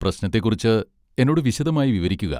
പ്രശ്നത്തെക്കുറിച്ച് എന്നോട് വിശദമായി വിവരിക്കുക.